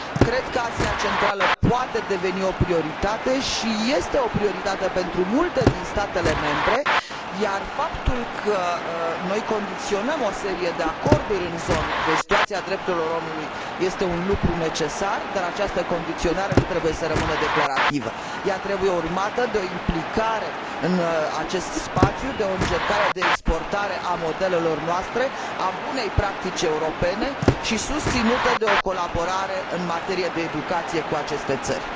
Cred că Asia Centrală poate deveni o prioritate și este o prioritate pentru multe dintre statele membre, iar faptul că noi condiționăm o serie de acorduri în zonă de situația drepturilor omului este un lucru necesar, dar această condiționare nu trebuie să rămână declarativă. Ea trebuie urmată de o implicare în acest spațiu, de o încercare de exportare a modelelor noastre, a bunei practici europene, și susținută de o colaborare în materie de educație cu aceste țări.